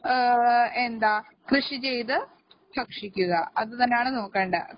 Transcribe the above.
എന്താ കൃഷിചെയ്ത് ഭക്ഷിക്കുക അതുതന്നെയാണ് നോക്കേണ്ടേ